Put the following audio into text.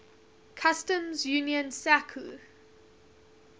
customs union sacu